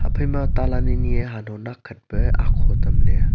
phaima talan anyi e hanho nakkhat pe aho tamle.